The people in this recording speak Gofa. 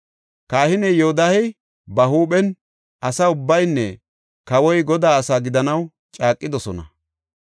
Kahiney Yoodahey ba huuphen, asa ubbaynne kawoy, Godaa asi gidanaw caaqidosona.